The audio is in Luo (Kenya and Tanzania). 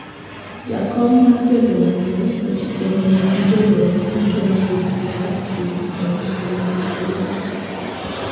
Jakom mar jodong luo ochiko romo gi jodongo duto mayudore e kar chung` od bura ma rarieda